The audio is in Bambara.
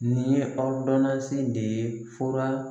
Nin ye awdamansi de ye fura